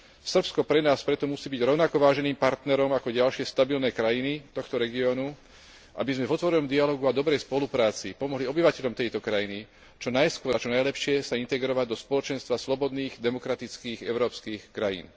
Srbsko pre nás preto musí byť rovnako váženým partnerom ako ďalšie stabilné krajiny tohto regiónu, aby sme v otvorenom dialógu a dobrej spolupráci pomohli obyvateľom tejto krajiny čo najskôr a čo najlepšie sa integrovať do spoločenstva slobodných, demokratických európskych krajín.